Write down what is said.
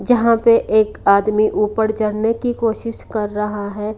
यहाँ पे एक आदमी ऊपर चढ़ने की कोशिश कर रहा है।